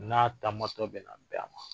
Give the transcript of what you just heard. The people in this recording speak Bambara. N'a taamatɔ bɛ na bɛn a ma